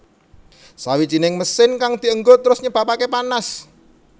Sawijining mesin kang dienggo terus nyebabake panas